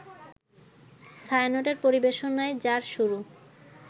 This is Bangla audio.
ছায়ানটের পরিবেশনায় যার শুরু